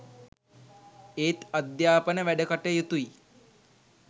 ඒත් අධ්‍යාපන වැඩකටයුතුයි